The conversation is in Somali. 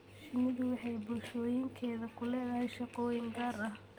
Shinnidu waxay bulshooyinkeeda ku leedahay shaqooyin gaar ah.